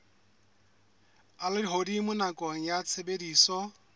a lehodimo nakong ya tshebediso